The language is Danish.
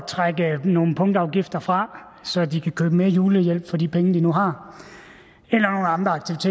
trække nogle punktafgifter fra så de kan købe mere julehjælp for de penge de nu har